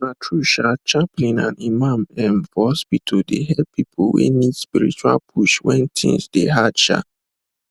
na true um chaplain and imam um for hospital dey help people wey need spiritual push when things hard um